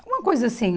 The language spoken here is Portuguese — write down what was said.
Alguma coisa assim.